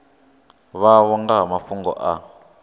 vhavho nga ha mafhungo a